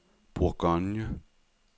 Bourgogne